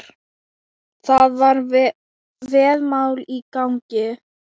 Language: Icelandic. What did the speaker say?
Það var veðmál í gangi.